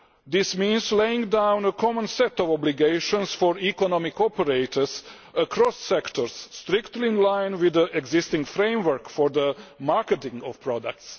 This means laying down a common set of obligations for economic operators across sectors, strictly in line with the existing framework for the marketing of products.